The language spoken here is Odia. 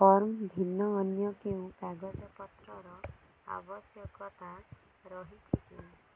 ଫର୍ମ ଭିନ୍ନ ଅନ୍ୟ କେଉଁ କାଗଜପତ୍ରର ଆବଶ୍ୟକତା ରହିଛିକି